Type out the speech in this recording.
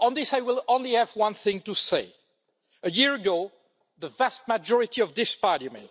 I have only one thing to say about this a year ago, the vast majority of this Parliament